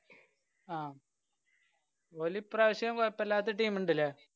അ ഓലിപ്രാവശ്യം കൊഴപ്പല്ലാത്ത team ണ്ടല്ലേ?